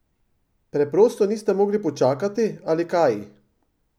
Preprosto niste mogli počakati, ali kaj?